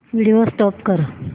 video stop कर